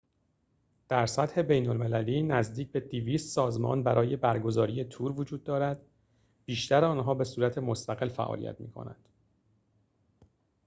در سطح بین‌المللی نزدیک به ۲۰۰ سازمان برای برگزاری تور وجود دارد بیشتر آنها به صورت مستقل فعالیت می‌کنند